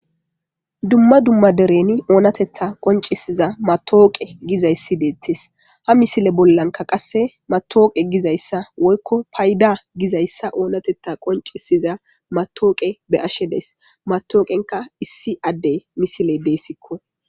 dumma dumma dereni oonatetta qoncisiza matooqe gizayssi deettes ha misile bollanka qasse matooqe gizayssa woykko payda gizayssa oonatetta qoncisiza matooqe be ashe dees matooqenka issi addey misile deessikko